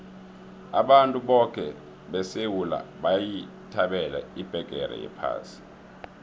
abantu boke besewula bayithabela ibheqere yephasi